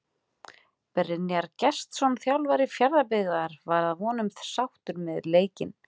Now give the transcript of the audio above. Brynjar Gestsson þjálfari Fjarðabyggðar var að vonum sáttur með leikinn.